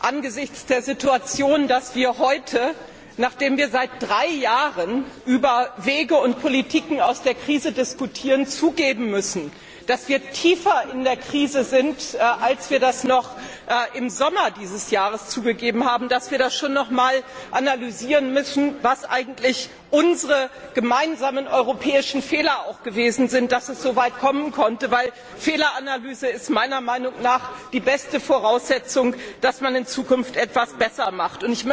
Angesichts der Situation, dass wir heute, nachdem wir seit drei Jahren über Wege und Politiken aus der Krise diskutieren, zugeben müssen, dass wir tiefer in der Krise stecken, als wir das noch im Sommer dieses Jahres zugegeben haben, müssen wir schon noch einmal analysieren, was eigentlich unsere gemeinsamen europäischen Fehler gewesen sind, und wie es soweit kommen konnte. Eine Fehleranalyse ist meiner Meinung nach die beste Voraussetzung, um in Zukunft etwas besser zu machen.